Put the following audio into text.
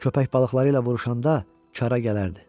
Köpək balıqları ilə vuruşanda, karə gələrdi.